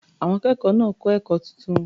Àwọn akẹ́kọ̀ọ́ náà kọ́ ẹ̀kọ́ tuntun.